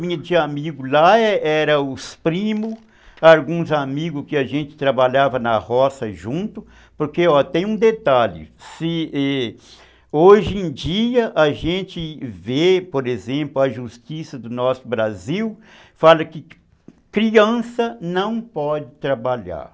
minha de amigo lá, eram os primos, alguns amigos que a gente trabalhava na roça junto, porque tem um detalhe, hoje em dia a gente vê, por exemplo, a justiça do nosso Brasil fala que criança não pode trabalhar.